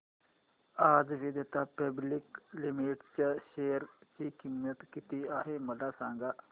आज Vedanta public limited च्या share ची किंमत किती आहे मला सांगा